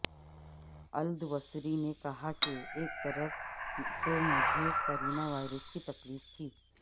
الدوسری نے کہا کہ ایک طرف تو مجھے کورونا وائرس کی تکلیف تھی